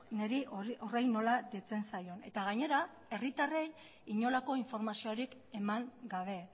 niri horri nola deitzen zaion eta gainera herritarrei inolako informaziorik eman gabe